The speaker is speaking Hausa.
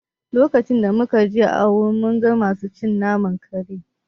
Lokacin da muka je Owerri mun ga masu cin naman kare